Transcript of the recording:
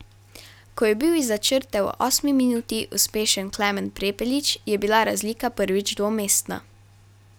Ko je bil izza črte v osmi minuti uspešen Klemen Prepelič, je bila razlika prvič dvomestna.